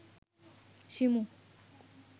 Shimu